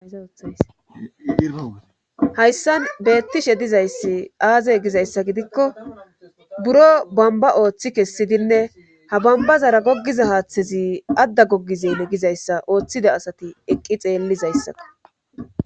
Hahayssan beettishe dizayssi aazey gizayssa gidikko buro bamba ooththi kessidinne ha bambazara goggiza haaththezi adda goggizene gizayssa ooththida asati eqqi xeellizayssaka